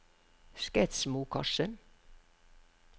Skedsmokorset